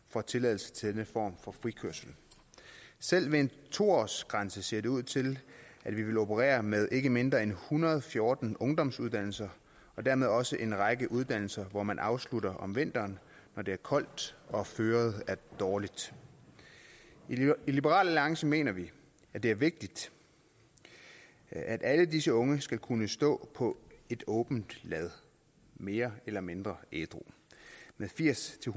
får tilladelse til den form for frikørsel selv med en to årsgrænse ser det ud til at vi vil operere med ikke mindre end en hundrede og fjorten ungdomsuddannelser og dermed også en række uddannelser hvor man afslutter om vinteren når det er koldt og føret er dårligt i liberal alliance mener vi at det er vigtigt at alle disse unge skal kunne stå på et åbent lad mere eller mindre ædru med firs til